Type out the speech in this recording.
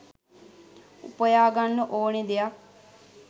උපයාගන්න ඕනෙ දෙයක්.